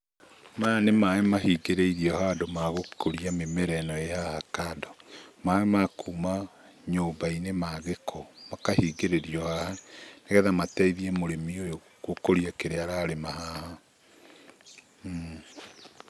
Maya nĩ maaĩ mahingĩrĩirio handũ ma gũkũria mĩmera ĩno ĩ haha kando, maaĩ ma kuma nyũmba-inĩ ma gĩko makahingĩrĩrio haha. Nĩgetha mateithie mũrĩmi ũyũ gũkũria kĩrĩa ararĩma haha.